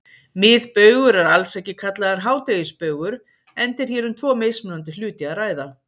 Miðbaugur er alls ekki kallaður hádegisbaugur enda er hér um tvo mismunandi hluti að ræða.